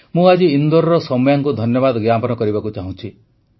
ମୁଁ ଆଜି ଇନ୍ଦୋରର ସୌମ୍ୟାଙ୍କୁ ଧନ୍ୟବାଦ ଜ୍ଞାପନ କରିବାକୁ ଚାହୁଁଛି